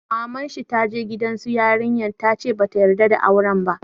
Maman shi ta je gidan su yarinya ta ce ba ta yarda da auren ba.